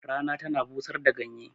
Rana tana busar da ganye